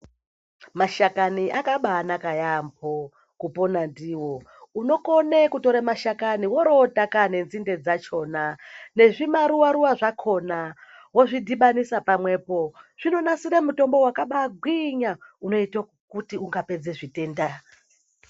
Mashakani akabaanaka yaamho kupona ndiwo. Unokone kutore mashakani worowotaka nenzinde dzakhona nezvimaruwa ruwa zvakhona wozvidhibanisa pamwepo. Zvinonasire mutombo wakabaagwinya unoite kuti ungapedza zvitenda.